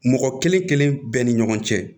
Mɔgɔ kelen kelen kelen bɛɛ ni ɲɔgɔn cɛ